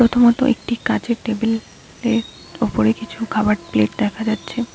ছোট মতো একটি কাঁচের টেবিল এর ওপরে কিছু খাবার প্লেট দেখা যাচ্ছে।